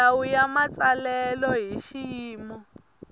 milawu ya matsalelo hi xiyimo